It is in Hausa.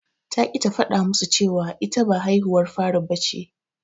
Ta ƙi ta faɗa musu cewa ita ba haihuwar fari bace.